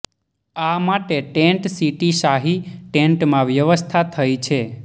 આ માટે tent city શાહી ટેન્ટમાં વ્યવસ્થા થઈ રહી છે